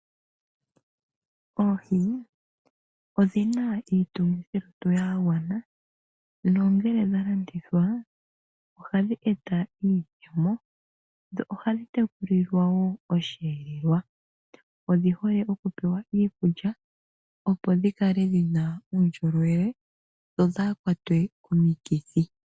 Oohi odhi na iitungithilutu yagwana nongele dhalandithwa ohadhi eta iiyemo. Ohadhi tekulilwa osheelelwa odhihole kupewa iikulya opo dhikale dhina uundjolowele dhodhakwatwe komikithi.